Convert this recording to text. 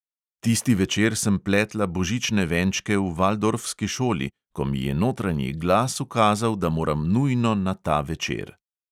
Tisti večer sem pletla božične venčke v valdorfski šoli, ko mi je notranji glas ukazal, da moram nujno na ta večer.